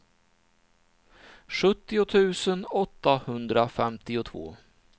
sjuttio tusen åttahundrafemtiotvå